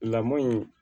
Lamɔ in